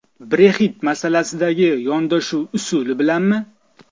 Brexit masalasidagi yondashuv usuli bilanmi?